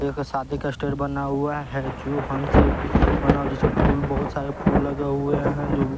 एक शादी का स्टेज बना हुआ है जो हंस बना हुआ जिसमें फूल बहुत सारे फूल लगे हुए हैं जो--